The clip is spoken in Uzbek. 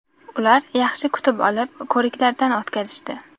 Ular yaxshi kutib olib, ko‘riklardan o‘tkazishdi.